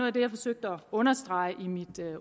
af det jeg forsøgte at understrege i mit